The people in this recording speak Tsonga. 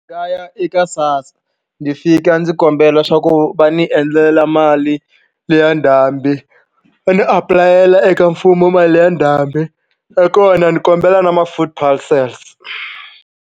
Nga ya eka sassa ndzi fika ndzi kombela swa ku va ni endlela mali liya ndhambi va ni apulayela eka mfumo mali ya ndhambi nakona ni kombela na ma-food parcels.